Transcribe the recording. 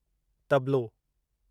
तबलो